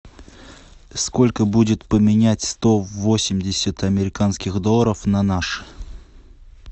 сколько будет поменять сто восемьдесят американских долларов на наши